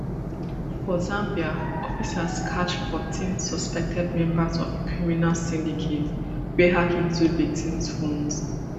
for zambia officers catch fourteen suspected members of a criminal syndicate wey hack into victims phones